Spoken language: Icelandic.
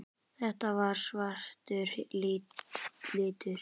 Þetta var svartur litur.